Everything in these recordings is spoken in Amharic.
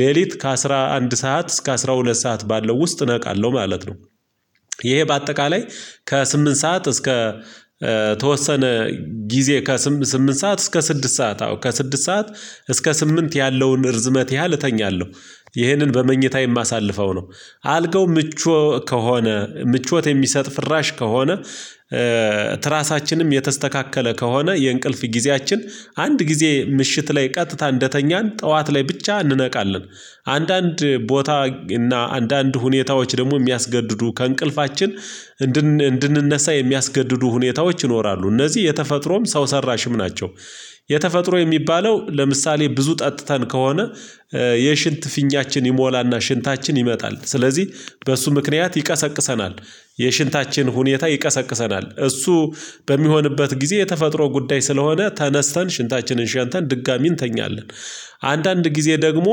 ሌሊት ከአሥራ አንድ ሰዓት እስከ አስራ ሁለት ሰዓት ባለው ውስጥ ነቃለሁ ማለት ነው። ይሄ በአጠቃላይ ከስምንት ሰዓት እስከ ተወሰነ ጊዜ ከስምንት ስምንት ሰዓት እስከ ስድስት ሰዓት አዎ ከስድስት ሰዓት እስከ ስምንት ያለውን እርዝመት ያህል እተኛለሁ። ይህንን በመኝታ የማሳልፈው ነው። አልጋው ምቾ ከሆነ ምቾት የሚሰጥ ፍራሽ ከሆነ ትራሳችንም የተስተካከለ ከሆነ የእንቅልፍ ጊዜያችን አንድ ጊዜ ምሽት ላይ ቀጥታ እንደተኛን ጠዋት ላይ ብቻ እንነቃለን። አንዳንድ ቦታ እና አንዳንድ ሁኔታዎች ደግሞ የሚያስገድዱ ከእንቅልፋችን እንድንነሳ የሚያስገድዱ ሁኔታዎች ይኖራሉ እነዚህ የተፈጥሮም ሰው ሰራሽም ናቸው። የተፈጥሮ የሚባለው ለምሳሌ ብዙ ጠጥተን ከሆነ የሽንት ፊኛችን ይሞላና ሽንታችን ይመጣል ስለዚህ በእሱ ምክንያት ይቀሰቅሰናል። የሽንታችን ሁኔታ ይቀሰቅሰናል እሱ በሚሆንበት ጊዜ የተፈጥሮ ጉዳይ ስለሆነ ተነስተን ሽንታችንን ሸንተን ድጋሚ እንተኛለን። አንዳንድ ጊዜ ደግሞ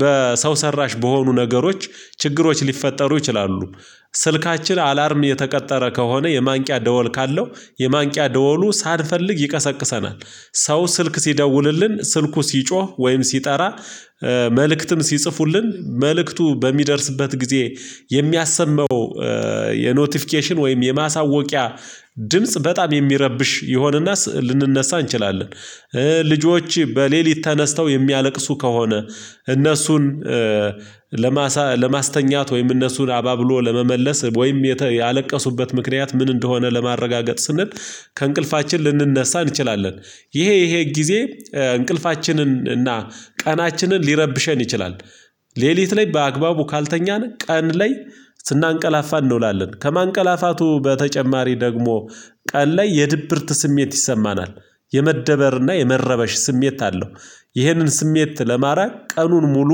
በሰው ሰራሽ በሆኑ ነገሮች ችግሮች ሊፈጠሩ ይችላሉ። ስልካችን አላርም የተቀጠረ ከሆነ የማንቂያ ደወል ካለው የማንቂያ ደወሉ ሳልፈልግ ይቀሰቅሰናል። ሰው ስልክ ሲደውልልን ስልኩ ሲጮህ ወይም ሲጠራ መልእክትም ሲጽፉልን መልእክቱ በሚደርስበት ጊዜ የሚያሰመው የኖቲፊኬሽን ወይም የማሳወቂያ ድምጽ በጣም የሚረብሽ ይሆንና ልንነሳ እንችላለን። ልጆች በሌሊት ተነስተው የሚያለቅሱ ከሆነ እነሱን ለማስተኛት ወይም እነሱን አባብሎ ለመመለስ ወይም ያለቀሱበት ምክንያት ምን እንደሆነ ለማረጋገጥ ስንል ከእንቅልፋችን ልንነሳ እንችላለን። ይሄ ይሄ ጊዜ እንቅልፋችንን እና ቀናችንን ሊረብሸን ይችላል። ሌሊት ላይ በአግባቡ ካልተኛን ቀን ላይ ስናንቀላፋ እንውላለን ከማንቀላፋቱ በተጨማሪ ደግሞ ቀን ላይ የድብርት ስሜት ይሰማናል። የመደበርና የመረበሽ ስሜት አለው። ይህንን ስሜት ለማራቅ ቀኑን ሙሉ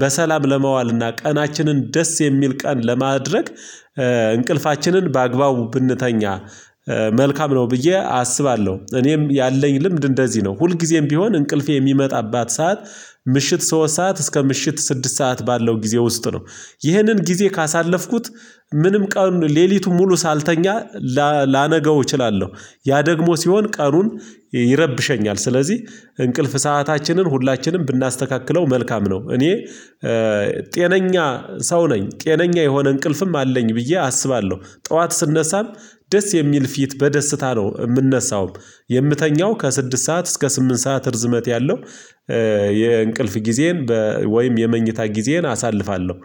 በሰላም ለመዋልና ቀናችንን ደስ የሚል ቀን ለማድረግ እንቅልፋችንን በአግባቡ ብንተኛ መልካም ነው ብዬ አስባለሁ። እኔም ያለኝ ልምድ እንደዚህ ነው። ሁልጊዜም ቢሆን እንቅልፌ የሚመጣባት ሰዓት ምሽት ሶስት ሰዓት እስከ ምሽት ስድስት ሰዓት ባለው ጊዜ ውስጥ ነው። ይህንን ጊዜ ካሳለፍኩት ምንም ቀን ሌሊቱን ሙሉ ሳልተኛ ላነገው እችላለሁ። ያ ደግሞ ሲሆን ቀኑን ይረብሸኛል ስለዚህ እንቅልፍ ሰአታችንን ሁላችንም ብናስተካክለው መልካም ነው። እኔ ጤነኛ ሰው ነኝ ጤነኛ የሆነ እንቅልፍም አለኝ ብዬ አስባለሁ። ጠዋት ስነሳም ደስ የሚል ፊት በደስታ ነው የምንነሳውም። የምተኛው ከስድስት ሰዓት እስከ ስምንት ሰዓት እርዝመት ያለው የእንቅልፍ ጊዜን ወይም የመኝታ ጊዜን አሳልፋለሁ።